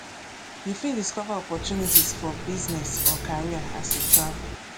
you fit discover opportunities for business or career as you travel